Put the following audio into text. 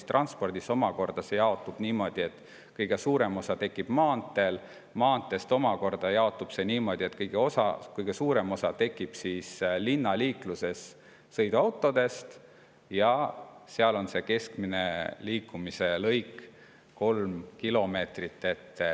Ja transpordis omakorda see jaotub niimoodi, et kõige suurem osa tekib maanteedel, maanteede puhul omakorda jaotub see niimoodi, et kõige suurem osa tekib linnaliikluses sõiduautode tõttu ja seal on see keskmine liikumise lõik 3 kilomeetrit.